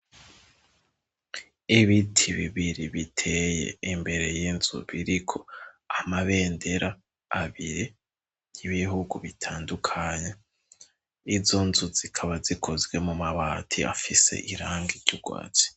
Ibiti bibiri biteye imbere y'inzu biriko amabendera abiri y'ibihugu bitandukanye izo nzu zikaba zikozwe mu mabati afise irangi ry'urwatsi.